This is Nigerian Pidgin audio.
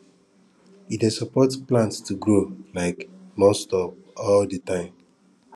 e dey support plant to grow um nonstop all di time